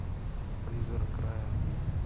призрак рая